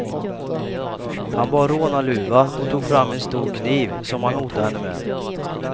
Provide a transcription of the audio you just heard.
Han bar rånarluva och tog fram en stor kniv, som han hotade henne med.